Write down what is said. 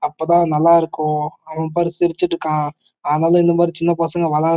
அப்ப தான் நல்ல இருக்கு அவன் பாரு சிரிச்சுட்டு இருக்காஆனாலும் இந்த மாறி சின்ன பசங்க விளையா--